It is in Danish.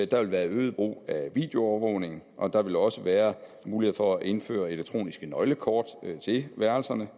der vil være øget brug af videoovervågning og der vil også være mulighed for at indføre elektroniske nøglekort til værelserne